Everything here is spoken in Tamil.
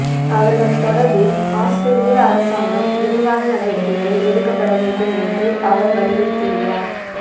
அவர்கள் தொடர்பில் அவுஸ்திரேலிய அரசாங்கம் விரைவான நடவடிக்கைகள் எடுக்கப்பட வேண்டும் என்று அவர் வலியுறுத்தியுள்ளார்